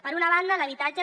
per una banda l’habitatge